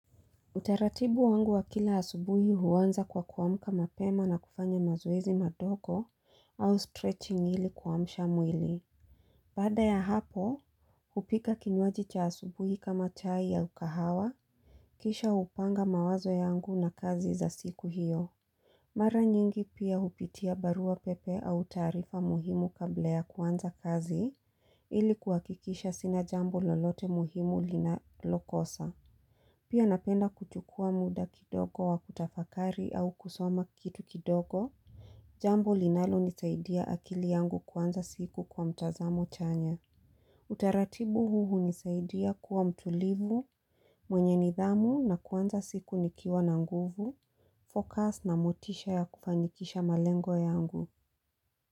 Utaratibu wangu wa kila asubuhi huwanza kwa kuwamka mapema na kufanya mazoezi mandogo au stretching hili kuwamsha mwili. Bada ya hapo, upika kinywaji cha asubuhi kama chai ya kahawa, kisha upanga mawazo yangu na kazi za siku hiyo. Mara nyingi pia upitia barua pepe au tarifa muhimu kabla ya kuanza kazi ili kuwakikisha sina jambo lolote muhimu linakokosa. Pia napenda kuchukua muda kidogo wa kutafakari au kusoma kitu kidogo. Jambo linalo nisaidia akili yangu kwanza siku kwa mtazamo chanya. Utaratibu huu nisaidia kuwa mtulivu, mwenye nidhamu na kwanza siku nikiwa na nguvu, focus na motisha ya kufanyikisha malengo yangu.